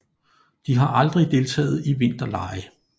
De har aldrig deltaget i vinterlege